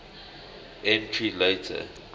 entury later